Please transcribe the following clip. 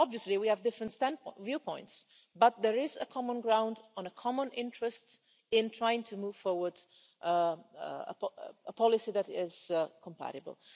Obviously we have different viewpoints, but there is common ground and a common interest in trying to move forward a policy that is compatible.